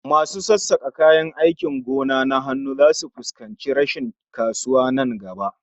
Masu sassakan kayan aikin gona na hannu zasu fuskanci rashin kasuwa nan gaba